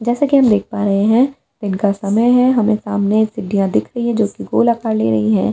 जैसा कि हम देख पा रहे हैं इनका समय है हमें सामने सिडिया दिख रही है जो कि गोलाकार ले रही है।